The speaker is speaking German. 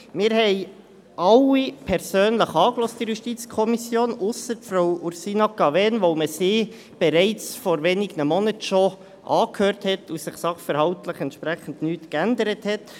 Wir haben in der JuKo alle persönlich angehört – ausser Frau Ursina Cavegn, weil wir sie bereits vor wenigen Monaten schon angehört hatten und sich sachverhaltlich entsprechend nichts geändert hat.